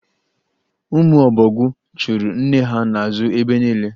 Ụmụ ọbọgwụ chụụrụ nne ha n'azụ ebe niile.